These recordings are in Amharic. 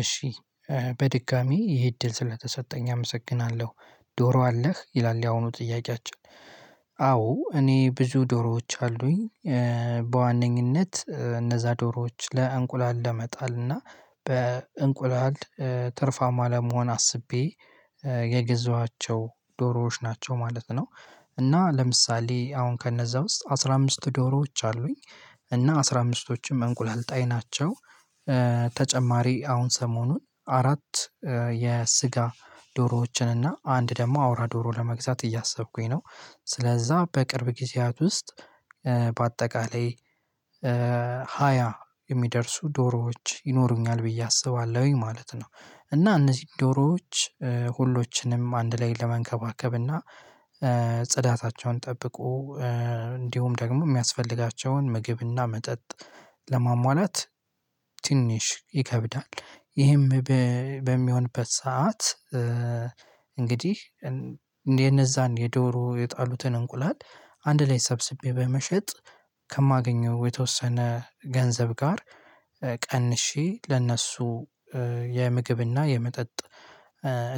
እሺ በድጋሚ ይሄ እድል ስለተሰጠኝ አመሰግናለሁ። ዶሮ አለህ ይላል የአሁኑ ጥያቄ አቻ? አዎ እኔ ብዙ ዶሮዎች አሉኝ። በዋነኝነት እነዛ ዶሮዎች ለእንቁላል ለመጣል እና በእንቁላል ትርፋማ ለመሆን አስቤ የገዛኋቸው ዶሮዎች ናቸው ማለት ነው። እና ለምሳሌ አሁን ከነዛ ውስጥ አስራ አምስት ዶሮዎች አሉኝ እና አስራ አምስቶችም እንቁላል ጣይ ናቸው። ተጨማሪ አሁን ሰሞኑን አራት የስጋ ዶሮዎችን እና አንድ ደግሞ አውራ ዶሮ ለመግዛት እያሰብኩኝ ነው። ስለዛ በቅርብ ጊዜያት ውስጥ በአጠቃላይ ሃያ የሚደርሱ ዶሮዎች ይኖሩኛል ብዬ አስባለሁኝ ማለት ነው። እና እነዚህ ዶሮዎች ሁሎችንም አንድ ላይ ለመንከባከብ እና ጽዳታቸውን ጠብቁ እንዲሁም ደግሞ የሚያስፈልጋቸውን ምግብና መጠጥ ለማሟላት ትንሽ ይከብዳል። ይህም በሚሆንበት ሰዓት እንግዲህ እነዛን የዶሮ የጣሉትን እንቁላል አንድ ላይ ሰብስቤ በመሸጥ ከማገኘው የተወሰነ ገንዘብ ጋር ቀንሼ ለእነሱ የምግብና የመጠጥ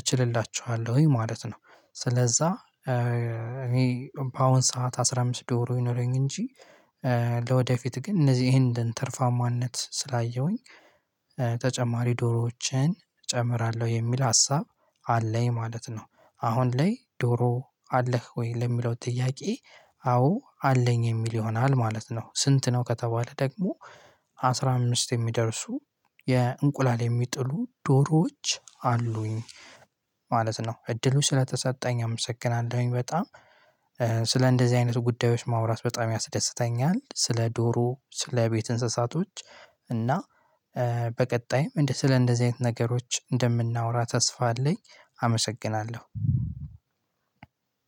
እችልላችኋለሁኝ ማለት ነው። ስለዛ እኔ በአሁን ሰዓት አስራ አምስት ዶሮ ይኖረኝ እንጂ። ለወደፊት ግን እነዚህን እንደንተርፋማነት ስላየሁኝ ተጨማሪ ዶሮዎችን እጨምራለሁ የሚል ሀሳብ አለኝ ማለት ነው። አሁን ላይ ዶሮ አለህ ወይ ለሚለው ጥያቄ? አዎ አለኝ የሚል ይሆናል ማለት ነው። ስንት ነው ከተባለ ደግሞ አስራ አምስት የሚደርሱ የእንቁላል የሚጥሉ ዶሮዎች አሉኝ። ማለት ነው እድሉ ስለተሰጠኝ አመሰግናለሁኝ። በጣም ስለ እንደዚህ አይነት ጉዳዮች ማውራት በጣም ያስደስተኛል። ስለ ዶሮ ስለ ቤት እንስሳቶች እና በቀጣይም እንደ ስለ እንደዚህ አይነት ነገሮች እንደምናወራ ተስፋ አለኝ። አመሰግናለሁ።